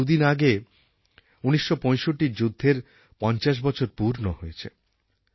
দুদিন আগে ১৯৬৫র যুদ্ধের পঞ্চাশ বছর পূর্ণ হয়েছে